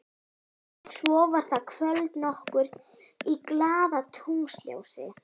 Svo var það kvöld nokkurt í glaðatunglsljósi.